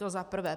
To za prvé.